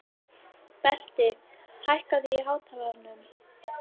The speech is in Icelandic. Berti, hækkaðu í hátalaranum.